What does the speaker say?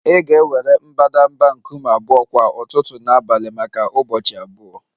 Ị ga-ewere mbadamba nkume abụọ kwa ụtụtụ na abalị maka ụbọchị abụọ